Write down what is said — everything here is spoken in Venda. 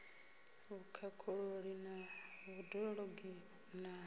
vhukhakhululi na vhud ologi na